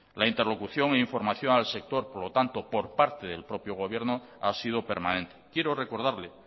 la interlocución e información al sector por lo tanto por parte del propio gobierno ha sido permanente quiero recordarle